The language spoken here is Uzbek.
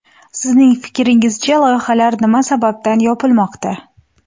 Sizning fikringizcha, loyihalar nima sababdan yopilmoqda?